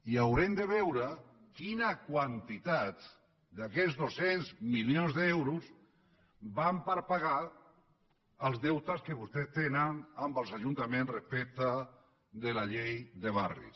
i aurem de veure quina quantitat d’aquests dos cents milions d’euros van per pagar els deutes que vostès tenen amb els ajuntaments respecte de la llei de barris